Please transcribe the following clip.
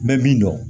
Bɛɛ b'i dɔn